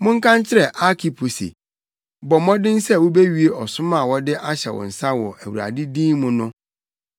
Monka nkyerɛ Arkipo se, “Bɔ mmɔden sɛ wubewie ɔsom a wɔde ahyɛ wo nsa wɔ Awurade din mu no.”